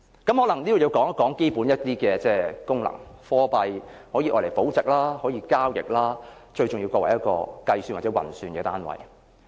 我可能要討論一下貨幣的基本功能，貨幣可以用來保值，可以交易，最重要可作為一個運算單位。